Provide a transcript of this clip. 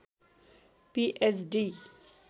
P H D